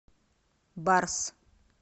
барс